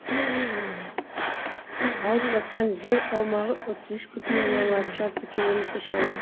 алып жатқан жер аумағы отыз үш бүтін оннан алты шаршы километр шамасы